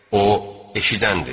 O, eşidəndir.